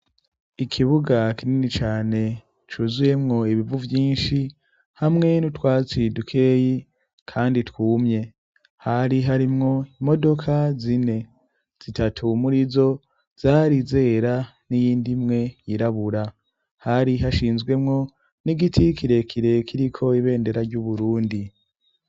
Ikibuga kinini cane cuzuyemwo ibivu vyinshi hamwe n'utwatsi dukeyi kandi twumye. Hari harimwo imodoka zine; zitatu murizo zari zera n'iyindi imwe yirabura . Hari hashinzwemwo n'igiti kirekire kiriko ibendera ry'Uburundi.